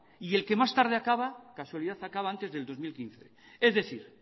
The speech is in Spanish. y el que más tarde acaba casualidad acaba antes del dos mil quince es decir